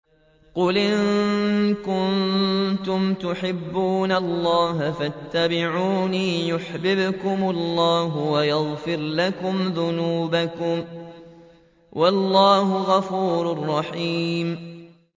قُلْ إِن كُنتُمْ تُحِبُّونَ اللَّهَ فَاتَّبِعُونِي يُحْبِبْكُمُ اللَّهُ وَيَغْفِرْ لَكُمْ ذُنُوبَكُمْ ۗ وَاللَّهُ غَفُورٌ رَّحِيمٌ